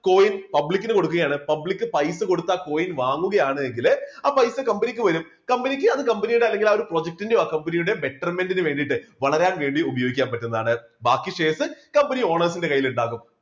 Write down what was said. coin public ന് കൊടുക്കുകയാണ്. public പൈസ കൊടുത്ത് ആ coin വാങ്ങുകയാണെങ്കില് ആ പൈസ company ക്ക് വരും company ക്ക് അത് company യുടെ അല്ലെങ്കില് ആ ഒരു project ന്റെയോ company യുടെ betterment നു വേണ്ടിയിട്ട് വളരാൻ വേണ്ടി ഉപയോഗിക്കാൻ പറ്റുന്നതാണ് ബാക്കി sharescompany owners ന്റെ കൈയിൽ ഉണ്ടാവും.